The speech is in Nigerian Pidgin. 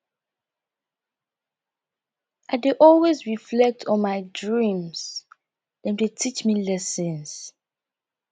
i dey always reflect on my dreams dem dey teach me lessons